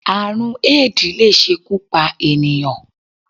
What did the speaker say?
Àrùn Éèdì lè ṣekú pa ènìyàn